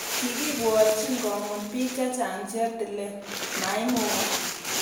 Kikibwotchin komut bik chechang cheptilet .Maimukak